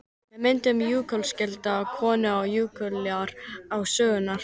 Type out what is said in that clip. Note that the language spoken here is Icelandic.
Með myndun jökulskjalda komu og jökulár til sögunnar.